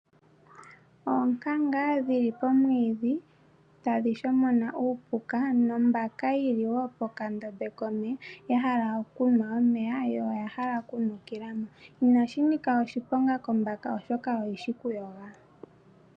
Oonkanga dhili pomwiidhi, tadhi shomona uupuka nombaka yili wo pokandombe komeya, ya hala okunwa omeya , yo oya hala okunukila mo. Ina shi nika oshiponga kombaka oshoka oyi shi okuyoga.